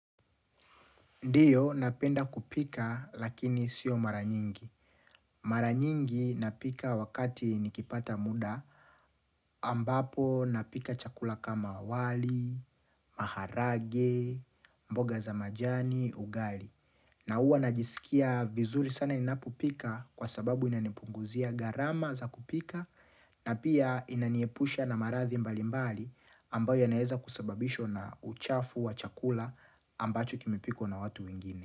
Ndiyo napenda kupika lakini sio mara nyingi. Mara nyingi napika wakati nikipata muda ambapo napika chakula kama wali, maharage, mboga za majani, ugali. Na uwa najisikia vizuri sana ninapopika kwa sababu inanipunguzia gharama za kupika na pia inaniepusha na maradhi mbali mbali ambayo yanaeza kusababishwa na uchafu wa chakula ambacho kimepikwa na watu wengine.